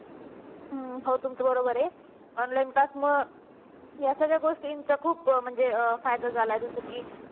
हो तुमचं बरोबर आहे online class मुळे या सगळ्या गोष्टींचा खूप म्हणजे फायदा झालाय जस की